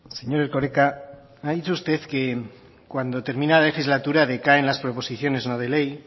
señor erkoreka ha dicho usted que cuando termina la legislatura decaen las proposiciones no de ley